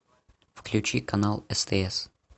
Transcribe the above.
включи канал стс